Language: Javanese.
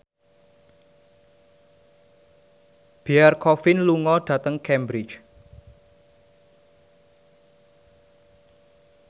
Pierre Coffin lunga dhateng Cambridge